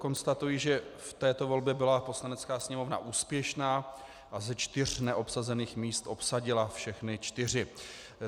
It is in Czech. Konstatuji, že v této volbě byla Poslanecká sněmovna úspěšná a ze čtyř neobsazených míst obsadila všechny čtyři.